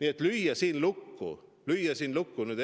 Nii et lüüa siin lukku